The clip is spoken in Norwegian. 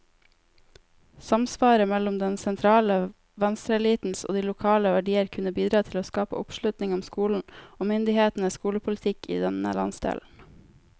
Samsvaret mellom den sentrale venstreelitens og de lokale verdier kunne bidra til å skape oppslutning om skolen, og myndighetenes skolepolitikk i denne landsdelen.